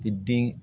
I den